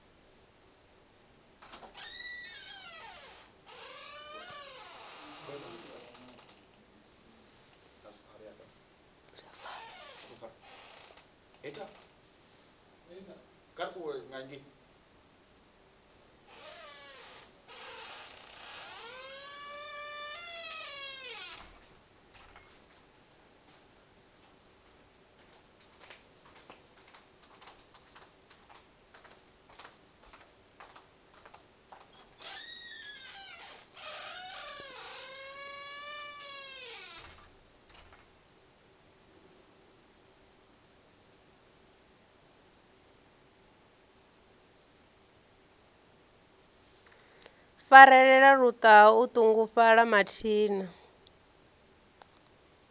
farelela luṱaha o ṱungufhala mathina